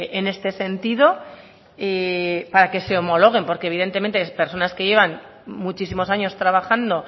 en este sentido y para que se homologuen porque evidentemente las personas que llevan muchísimos años trabajando